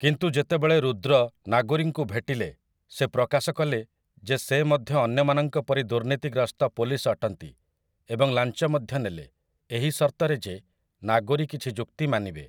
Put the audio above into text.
କିନ୍ତୁ ଯେତେବେଳେ ରୁଦ୍ର ନାଗୋରୀଙ୍କୁ ଭେଟିଲେ ସେ ପ୍ରକାଶକଲେ ଯେ ସେ ମଧ୍ୟ ଅନ୍ୟମାନଙ୍କ ପରି ଦୁର୍ନୀତିଗ୍ରସ୍ତ ପୋଲିସ୍‌ ଅଟନ୍ତି ଏବଂ ଲାଞ୍ଚ ମଧ୍ୟ ନେଲେ ଏହି ସର୍ତ୍ତରେ ଯେ ନାଗୋରୀ କିଛି ଯୁକ୍ତି ମାନିବେ ।